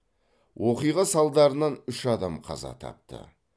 оқиға салдарынан үш адам қаза тапты